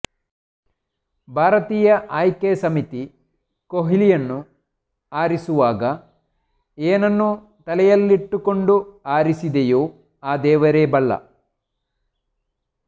ಭಾರತೀಯ ಆಯ್ಕೆ ಸಮಿತಿ ಕೊಹ್ಲಿಯನ್ನು ಆರಿಸುವಾಗ ಏನನ್ನು ತಲೆಯಲ್ಲಿಟ್ಟುಕೊಂಡು ಆರಿಸಿದೆಯೋ ಆ ದೇವರೇ ಬಲ್ಲ